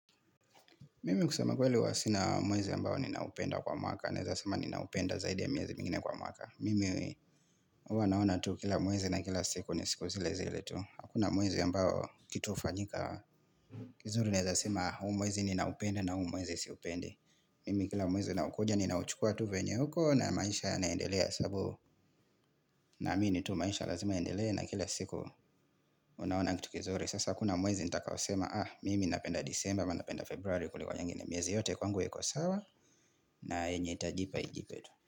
Mimi kusama kweli huwa sina mwezi ambao ninaupenda kwa mwaka. Naweza sema ninaupenda zaidi ya miezi mingine kwa mwaka. Mimi huwa naona tu kila mwezi na kila siku ni siku zile zile tu. Hakuna mwezi ambao kitu hufanyika. Kizuri naweza sema huu mwezi ninaupenda na huu mwezi siupendi Mimi kila mwezi unaokuja ninauchukua tu vyenye huko na maisha inaendelea sababu naamini tu maisha lazima iendelee na kila siku unaona kitu kizuri. Sasa hakuna mwezi nitakao sema Mimi napenda disemba ama napenda februari kuliko nyingine miezi yote kwangu iko sawa na yenye itajipa ijipe tu.